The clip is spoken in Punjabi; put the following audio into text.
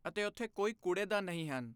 ਅਤੇ ਉੱਥੇ ਕੋਈ ਕੂੜੇਦਾਨ ਨਹੀਂ ਹਨ